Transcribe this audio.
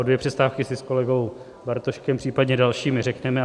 O dvě přestávky si s kolegou Bartoškem, případně dalšími, řekneme.